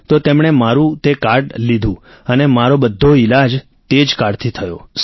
તો તેમણે મારું તે કાર્ડ લીધું અને મારો બધો ઈલાજ તે જ કાર્ડથી થયો